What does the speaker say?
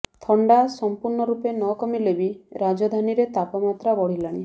ଥଣ୍ଡା ସମ୍ପୂର୍ଣ୍ଣ ରୂପେ ନ କମିଲେବି ରାଜଧାନୀରେ ତାପମାତ୍ରା ବଢ଼ିଲାଣି